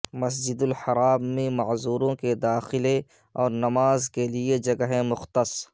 مسجد الحرام میں معذوروں کے داخلے اور نماز کے لیے جگہیں مختص